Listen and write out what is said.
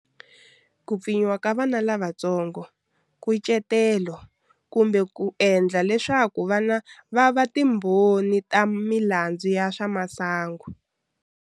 Ku pfinyiwa ka vana lavatsongo, Nkucetelo kumbe ku endla leswaku vana va va timbho ni ta milandzu ya swa masangu.